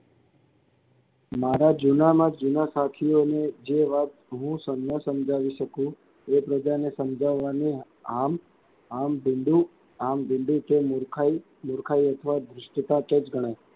મારા જૂનામાં જૂનાં સાથિયોની જે વાત હું ન સમજાવી શકું એકબીજાની સમજાવવાની આમ આમ આમ કે મૂર્ખાય મૂર્ખાય અથવા દૃષ્ટતાં તો જ ગણાય.